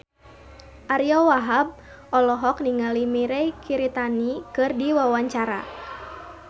Ariyo Wahab olohok ningali Mirei Kiritani keur diwawancara